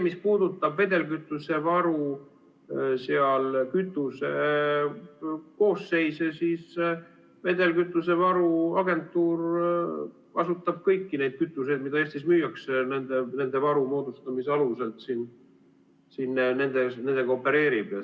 Mis puudutab vedelkütusevaru ja kütuse koostist, siis vedelkütusevaru agentuur kasutab kõiki neid kütuseid, mida Eestis müüakse, ning opereerib nende varu moodustamise alusel siin nendega.